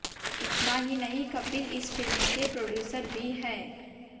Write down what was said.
इतना ही नहीं कपिल इस फिल्म के प्रोड्यूसर भी है